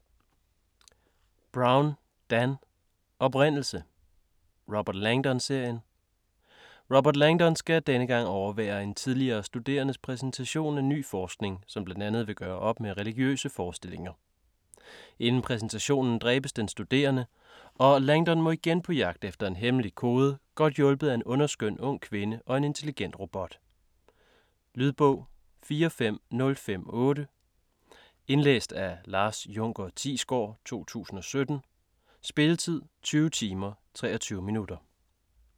Brown, Dan: Oprindelse Robert Langdon-serien. Robert Langdon skal denne gang overvære en tidligere studerendes præsentation af ny forskning, som bl.a. vil gøre op med religiøse forestillinger. Inden præsentationen dræbes den studerende, og Langdon må igen på jagt efter en hemmelig kode godt hjulpet af en underskøn ung kvinde og en intelligent robot. Lydbog 45058 Indlæst af Lars Junker Thiesgaard, 2017. Spilletid: 20 timer, 23 minutter.